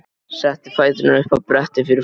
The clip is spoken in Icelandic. Setti fæturna upp á brettið fyrir framan.